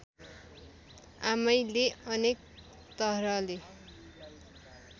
आमैले अनेक तरहले